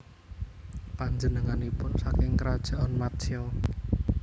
Panjenenganipun saking Krajaan Matsya